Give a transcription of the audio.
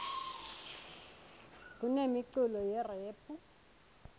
kunemiculo yerephu